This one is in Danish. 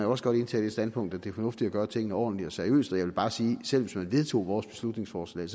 også godt indtage det standpunkt fornuftigt at gøre tingene ordentligt og seriøst vil bare sige at selv hvis man vedtog vores beslutningsforslag